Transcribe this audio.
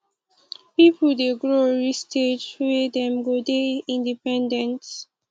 pipo dey grow reach stage wey dem go dey independent